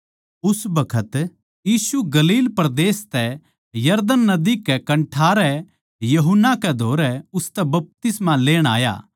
उस बखत यीशु गलील परदेस तै यरदन नदी कै कन्ठारे यूहन्ना कै धोरै उसतै बपतिस्मा लेण आया